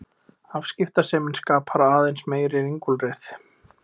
Afskiptasemin skapar aðeins meiri ringulreið.